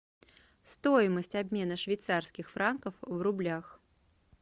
стоимость обмена швейцарских франков в рублях